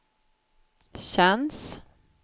känns